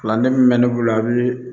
Kalanden min bɛ ne bolo a bɛ